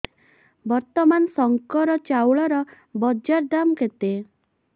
ବର୍ତ୍ତମାନ ଶଙ୍କର ଚାଉଳର ବଜାର ଦାମ୍ କେତେ